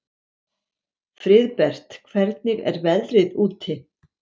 Friðbert, hvernig er veðrið úti?